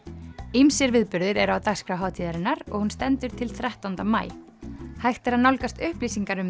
ýmsir viðburðir eru á dagskrá hátíðarinnar og hún stendur til þrettánda maí hægt er að nálgast upplýsingar um